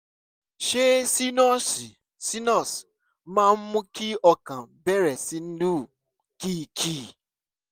ṣé sínọ́ọ̀sì sinus máa ń mú kí ọkàn bẹ̀rẹ̀ sí lù kìkì?